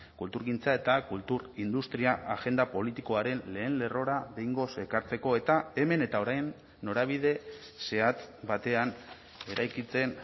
kulturgintza eta kultur industria agenda politikoaren lehen lerrora behingoz ekartzeko eta hemen eta orain norabide zehatz batean eraikitzen